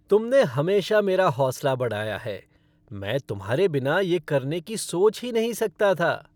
तुमने हमेशा मेरा हौंसला बढ़ाया है! मैं तुम्हारे बिना ये करने की सोच ही नहीं सकता था।